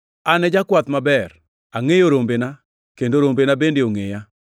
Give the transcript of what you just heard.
“An e jakwath maber; angʼeyo rombena kendo rombena bende ongʼeya.